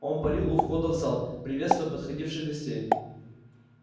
он парил у входа в зал приветствуя подходивших гостей